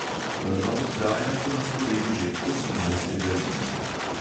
Prva oddaja bo na sporedu že osemnajstega junija.